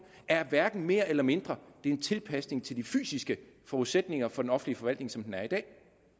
hverken er mere eller mindre det er en tilpasning til de fysiske forudsætninger for den offentlige forvaltning som den er i dag